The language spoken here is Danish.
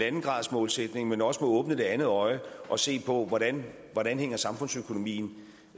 en gradersmålsætning men også må åbne det andet øje og se på hvordan hvordan samfundsøkonomien